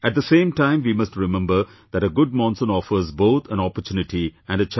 At the same time we must remember that a good monsoon offers both an opportunity and a challenge